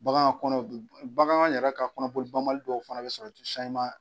Bagan kɔnɔ bagan yɛrɛ ka kɔnɔboli ban bali dɔw fana bɛ sɔrɔ ji